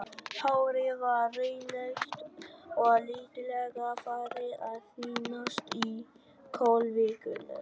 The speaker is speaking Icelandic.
Hárið var rauðleitt og lítillega farið að þynnast í kollvikunum.